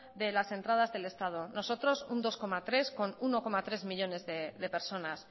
de las entradas del estado nosotros un dos coma tres con un uno coma tres millónes de personas